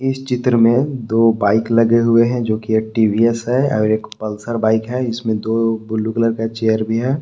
इस चित्र में दो बाइक लगे हुए हैं जो कि एक टी_वी_एस है और एक पल्सर बाइक है इसमें दो ब्ल्यू कलर का चेयर भी है।